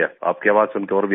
आपकी आवाज सुनकर और भी अच्छा